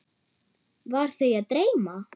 Var þau að dreyma?